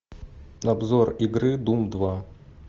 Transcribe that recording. обзор игры дум два